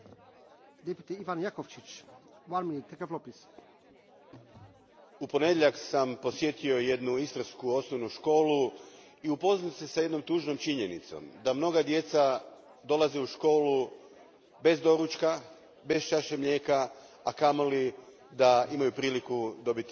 Gospodine predsjedniče, u ponedjeljak sam posjetio jednu istarsku osnovnu školu i upoznao se s jednom tužnom činjenicom, da mnoga djeca dolaze u školu bez doručka, bez čaše mlijeka, a kamoli da imaju priliku dobiti malo voća.